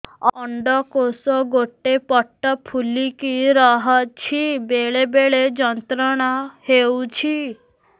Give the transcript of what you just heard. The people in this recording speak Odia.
ଅଣ୍ଡକୋଷ ଗୋଟେ ପଟ ଫୁଲିକି ରହଛି ବେଳେ ବେଳେ ଯନ୍ତ୍ରଣା ହେଉଛି